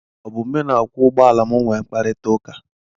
Ọ bụ mụ na okwọọ ụgbọala m nwee kparita ụka.